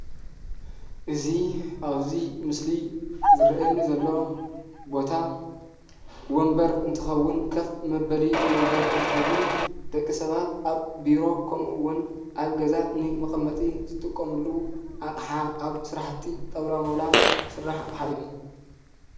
እዚ ኣብዚ ምስሊ ዝርአየኒ ዘሎ ቦታ ወንበር እንትኸውን ከፍ መበሊ ወንበር እንትኸውን ደቂ ሰባት ኣብ ቢሮ ከምኡውን ኣብ ገዛ ንመቐመጢ ዝጥቀሙሉ ኣቕሓ ኣብ ስራሕቲ ጣውላ ማውላ ዝስራሕ ኣቕሓ እዩ፡፡